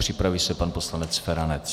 Připraví se pan poslanec Feranec.